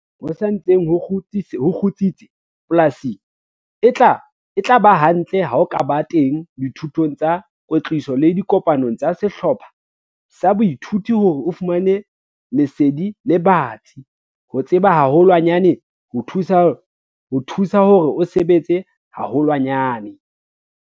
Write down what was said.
Nakong eo ho sa ntseng ho kgutsitse polasing, e tla ba hantle ha o ka ba teng dithutong tsa kwetliso le dikopanong tsa sehlopha sa boithuto hore o fumane lesedi le batsi - ho tseba haholwanyane ho thusa hore o sebetse haholwanyane!